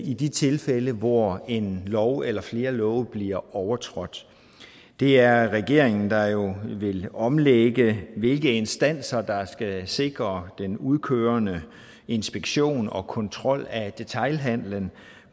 i de tilfælde hvor en lov eller flere love bliver overtrådt det er regeringen der jo vil omlægge hvilke instanser der skal sikre den udkørende inspektion og kontrol af detailhandelen